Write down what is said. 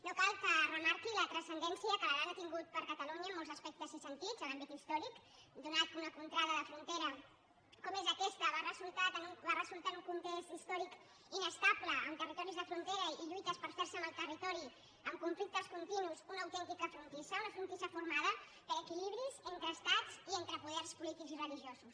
no cal que remarqui la transcendència que l’aran ha tingut per a catalunya en molts aspectes i sentits en l’àmbit històric atès que una contrada de frontera com és aquesta va resultar en un context històric inestable amb territoris de frontera i lluites per fer se amb el territori amb conflictes continus una autèntica frontissa una frontissa formada per equilibris entre estats i entre poders polítics i religiosos